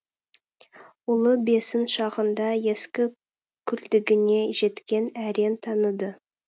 ұлы бесін шағыңда ескі күлдігіне жеткен әрең таныды